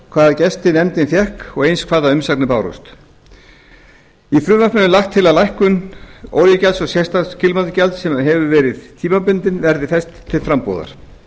hvaða gesti nefndin fékk og eins hvaða umsagnir bárust í frumvarpinu er lagt til að lækkun olíugjalds og sérstaks kílómetragjalds sem verið hefur tímabundin verði fest til frambúðar